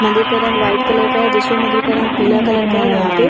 मंदिर का रंग व्हाइट कलर का है दूसरे मंदिर का रंग पीला कलर का है जहां पे--